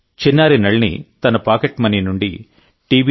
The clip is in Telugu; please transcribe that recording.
చిన్నారి నళిని తన పాకెట్ మనీ నుండిటి